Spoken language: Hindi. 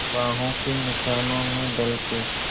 बाहों के निशानों में ढल के